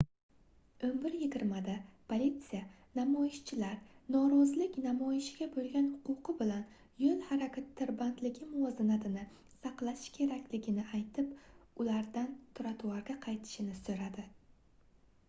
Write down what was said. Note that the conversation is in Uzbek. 11:20 da politsiya namoyishchilar norozilik namoyishiga boʻlgan huquqi bilan yoʻl harakati tirbandligi muvozanatini saqlashi kerakligini aytib ulardan trotuarga qaytishini soʻradi